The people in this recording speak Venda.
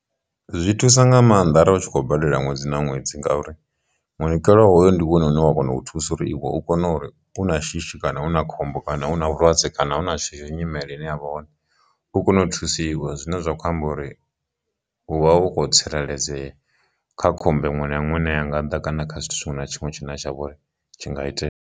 Zwi thusa nga maanḓa arali u tshi khou badela ṅwedzi na ṅwedzi ngauri munikelo hoyu ndi wone une wa kona u thusa uri iwe u kone uri una shishi kana hu na khombo kana u na vhulwadze kana hu na nyimele ine yavha hone u kone u thusiwa, zwine zwa khou amba uri hu vha hu khou tsireledzea kha khomb iṅwe na iṅwe ine ya nga ḓa kana kha tshithu tshiṅwe na tshiṅwe tshine tsha vhori tshi nga itea.